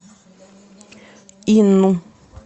инну